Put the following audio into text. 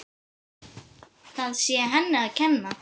Það sé henni að kenna.